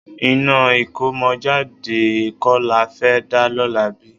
Iná ìkómọjáde kọ́ la fẹ́ dá lọ́la bí?